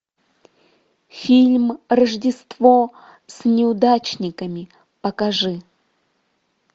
фильм рождество с неудачниками покажи